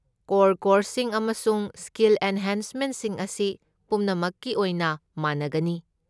Core ꯀꯣꯔꯁꯁꯤꯡ ꯑꯃꯁꯨꯡ skill ꯑꯦꯟꯍꯦꯟꯁꯃꯦꯟꯠꯁꯤꯡ ꯑꯁꯤ ꯄꯨꯝꯅꯃꯛꯀꯤ ꯑꯣꯏꯅ ꯃꯥꯟꯅꯒꯅꯤ꯫